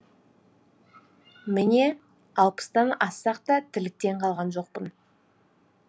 міне алпыстан ассақ та тірліктен қалған жоқпын